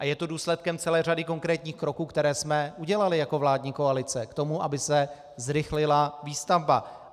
A je to důsledkem celé řady konkrétních kroků, které jsme udělali jako vládní koalice k tomu, aby se zrychlila výstavba.